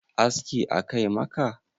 aski a Kai maka?